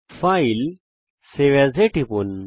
file save as এ টিপুন